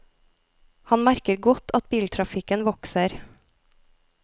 Han merker godt at biltrafikken vokser.